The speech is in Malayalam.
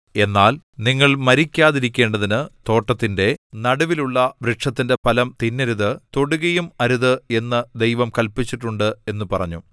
എന്നാൽ നിങ്ങൾ മരിക്കാതിരിക്കേണ്ടതിനു തോട്ടത്തിന്റെ നടുവിലുള്ള വൃക്ഷത്തിന്റെ ഫലം തിന്നരുത് തൊടുകയും അരുത് എന്ന് ദൈവം കല്പിച്ചിട്ടുണ്ട് എന്നു പറഞ്ഞു